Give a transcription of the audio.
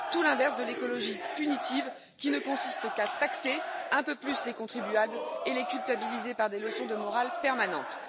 Tout l'inverse de l'écologie punitive, qui ne consiste qu'à taxer un peu plus les contribuables et à les culpabiliser par des leçons de morale permanentes.